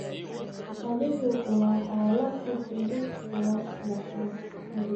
Adhigu waa xoolo si fudud loo dhaqdo.